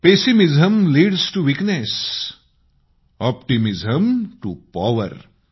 pessimism leads to weakness optimism to power